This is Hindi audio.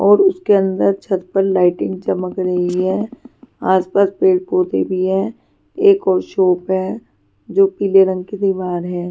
और उसके अंदर छत पर लाइटिंग चमक रही है आसपास पेड़ पौधे भी है एक और शॉप है जो पीले रंग की दीवार है.